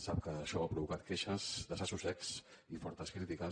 sap que això ha provocat queixes desassossecs i fortes crítiques